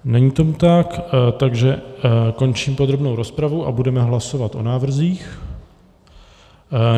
Není tomu tak, takže končím podrobnou rozpravu a budeme hlasovat o návrzích.